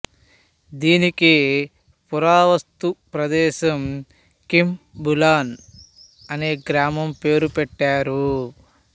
దీనికి పురావస్తు ప్రదేశం కింబులన్ అనే గ్రామం పేరు పెట్టారు